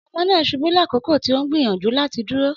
Ọmọ naa ṣubu lakoko ti o n gbiyanju lati duro